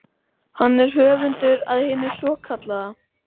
Hann er höfundur að hinu svokallaða